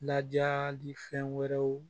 Lajali fɛn wɛrɛw